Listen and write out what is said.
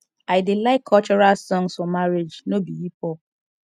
i dey like cultural songs for marriage no be hip hop